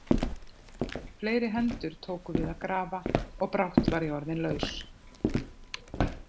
Fleiri hendur tóku til við að grafa og brátt var ég orðinn laus.